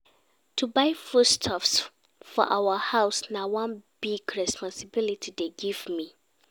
To buy foodstuff for our house na one big responsibility dem give me.